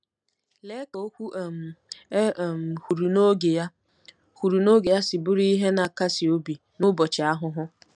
Lee ka “okwu um e um kwuru n’oge ya” kwuru n’oge ya” si bụrụ ihe na-akasi obi n’ụbọchị ahụhụ!